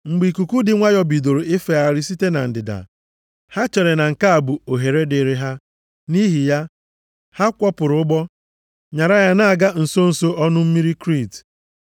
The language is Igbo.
Mgbe ikuku dị nwayọọ bidoro ifegharị site na ndịda, ha chere na nke a bụ ohere dịrị ha. Nʼihi ya, ha kwọpụrụ ụgbọ nyara ya na-aga nso nso ọnụ mmiri Kriit.